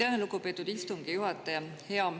Aitäh, lugupeetud istungi juhataja!